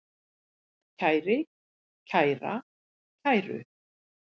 kæri, kæra, kæru